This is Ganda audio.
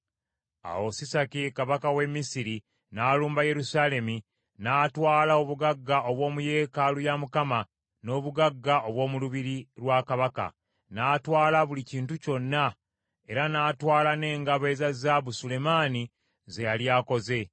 Awo Sisaki kabaka w’e Misiri n’alumba Yerusaalemi n’atwala obugagga obw’omu yeekaalu ya Mukama , n’obugagga obw’omu lubiri lwa kabaka, n’atwala buli kintu kyonna, era n’atwala n’engabo eza zaabu Sulemaani ze yali akoze.